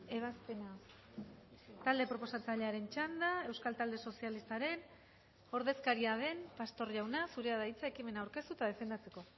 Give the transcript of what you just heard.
ebazpena talde proposatzailearen txanda euskal talde sozialistaren ordezkaria den pastor jauna zurea da hitza ekimena aurkeztu eta defendatzeko